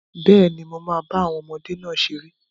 Bẹ́ẹ̀ni, mo máa bá àwọn ọmọdé náà ṣeré